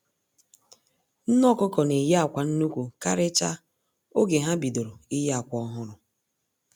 Nne ọkụkọ na-eyi akwa nnukwu karịchaa oge ha bidoro iyi akwa ọhụrụ